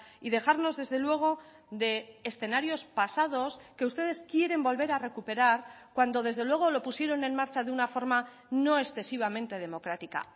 y dejarnos desde luego de escenarios pasados que ustedes quieren volver a recuperar cuando desde luego lo pusieron en marcha de una forma no excesivamente democrática